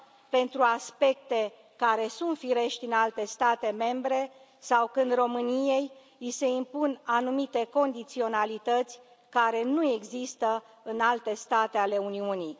pentru aspecte care sunt firești în alte state membre sau când României i se impun anumite condiționalități care nu există în alte state ale Uniunii.